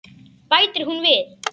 Bætir hún við.